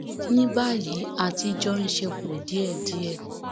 ní báyìí a ti jọ ń ṣe pọ díẹdíẹ